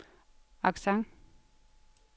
accent